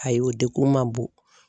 Ayi o degun man bon.